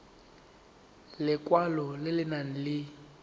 lekwalo le le nang le